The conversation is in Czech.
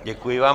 Děkuji vám.